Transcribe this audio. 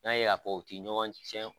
N'a y'a fɔ u ti ɲɔgɔn cɛn